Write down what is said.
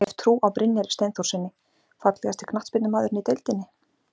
Hef trú á Brynjari Steinþórssyni Fallegasti knattspyrnumaðurinn í deildinni?